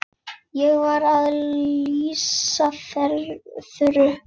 Ég var að lýsa Þuru.